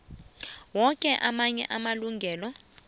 woke amanye amalungelo